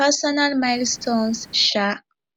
personal milestones um